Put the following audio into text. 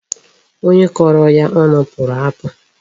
Onye kọrọ ya ọnụ pụrụ apụ.